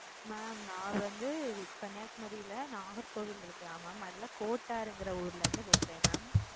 mam நான் வந்து கன்னியாகுமரில நாகர்கோவில் இருக்குல mam அதுல கோட்டாறுங்குற ஊருல இருந்து பேசுறேன் mam.